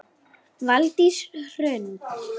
Valdís Hrund.